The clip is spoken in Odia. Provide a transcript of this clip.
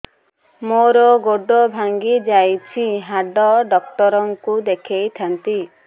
ମୋର ଗୋଡ ଭାଙ୍ଗି ଯାଇଛି ହାଡ ଡକ୍ଟର ଙ୍କୁ ଦେଖେଇ ଥାନ୍ତି